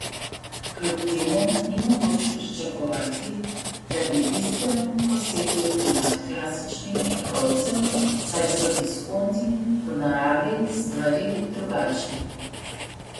Kljub temu ni mogoče pričakovati, da bi bistveno posegli v primat klasičnih trgovcev, saj so diskonti po naravi stvari drugačni.